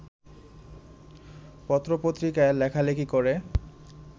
পত্রপত্রিকায় লেখালেখি করে